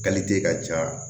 ka ja